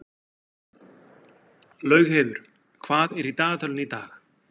Laugheiður, hvað er í dagatalinu í dag?